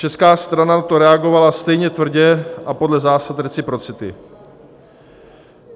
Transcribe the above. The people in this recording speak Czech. Česká strana na to reagovala stejně tvrdě a podle zásad reciprocity.